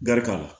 Garika la